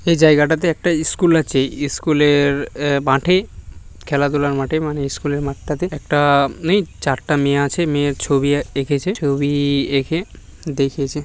এই জায়গাটাতে একটা স্কুল আছে স্কু-লে-এর মাঠেই খেলাধুলার মাঠেই মানে স্কুলের মাঠটাতে একটা-নেই চারটা মেয়ে আছে মেয়ের ছবি এঁ-কেছে ছবি এ-কে দেখিয়েছে।